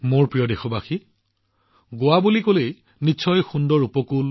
মোৰ মৰমৰ দেশবাসীসকল যেতিয়া কোনোবাই পৰ্যটনৰ কেন্দ্ৰ গোৱাৰ বিষয়ে কয় তেতিয়া আপোনাৰ মনলৈ কি আহে